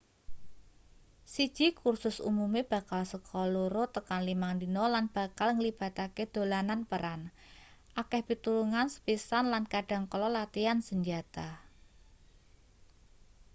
siji kursus umume bakal seka 2-5 dina lan bakal nglibatake dolanan peran akeh pitulungan sepisan lan kadhang kala latian senjata